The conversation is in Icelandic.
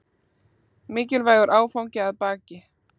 Mikilvægur áfangi að baki